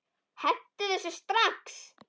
Hentu þessu strax!